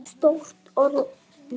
Stórt orð móðir!